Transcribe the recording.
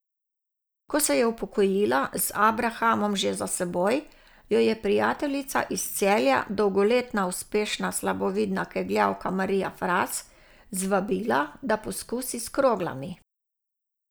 Ko se je upokojila, z abrahamom že za seboj, jo je prijateljica iz Celja, dolgoletna uspešna slabovidna kegljavka Marija Fras, zvabila, da poskusi s kroglami.